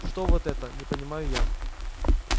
что вот это не понимаю я